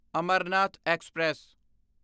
Amarnath express